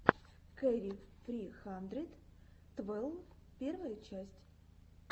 кэрри сри хандрэд твэлв первая часть